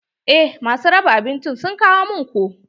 Eh ma su raba abinci sun kawo min ko.